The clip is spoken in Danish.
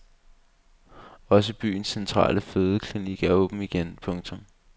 Også byens centrale fødeklinik er åben igen. punktum